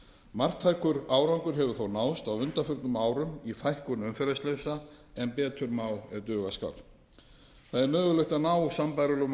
marktækur árangur hefur þó náðst á undanförnum árum í fækkun umferðarslysa en betur má ef duga skal það er mögulegt að ná sambærilegum